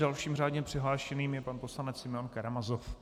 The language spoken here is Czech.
Dalším řádně přihlášeným je pan poslanec Simeon Karamazov.